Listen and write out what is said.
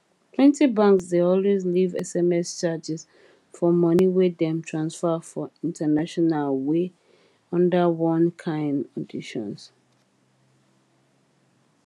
plenty banks dey always leave sms charges for money wey dem transfer for international wey under one kind conditions